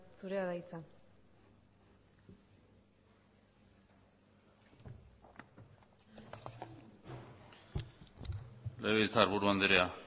zurea da hitza legebiltzarburu andrea